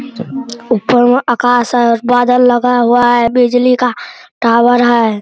ऊपर में आकाश है और बादल लगा हुआ है बिजली का टावर है।